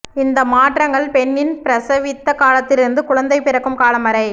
இந்த மாற்றங்கள் பெண்ணின் பிரசவித்த காலத்திலிருந்து குழந்தை பிறக்கும் காலம் வரை